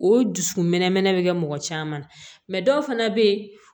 O dusukun mɛn mɛnɛ mɔgɔ caman na dɔw fana bɛ yen